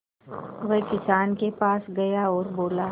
वह किसान के पास गया और बोला